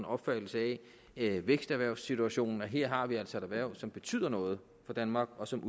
opfattelse af væksterhvervssituationen og her har vi altså et erhverv som betyder noget for danmark og som